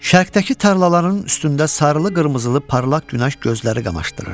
Şərqdəki tarlaların üstündə sarılı-qırmızılı parlaq günəş gözləri qamaşdırırdı.